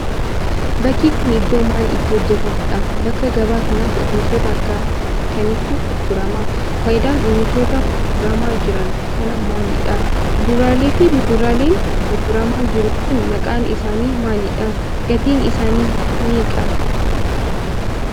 Bakki kun, iddoo maal itti hojjatamuudha? Bakka gabaa kanatti oomishoota akka kamiitu gurgurama? Faayidaan oomishoota gurguramaa jiran kanaa maaliidha? Kuduraalee fi muduraaleen gurguramaa jiru kun, maqaan isaanii maalidha? Gatiin isaanii hoo meeqa?